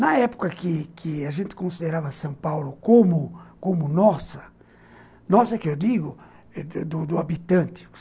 Na época que que a gente considerava São Paulo como nossa, nossa que eu digo, do do habitante.